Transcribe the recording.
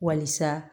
Walisa